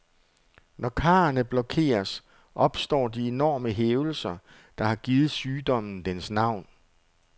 Når karrene blokeres, opstår de enorme hævelser, der har givet sygdommen dens navn.